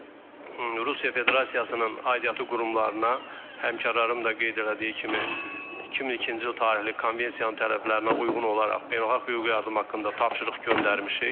Və Rusiya Federasiyasının aidiyyatı qurumlarına, həmkarlarım da qeyd elədiyi kimi, 2002-ci il tarixli konvensiyanın tələblərinə uyğun olaraq beynəlxalq hüquqi yardım haqqında tapşırıq göndərmişik.